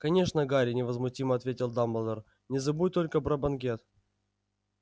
конечно гарри невозмутимо ответил дамблдор не забудь только про банкет